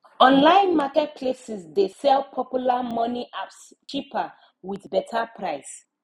online market places dey sell popular money apps cheaper with better price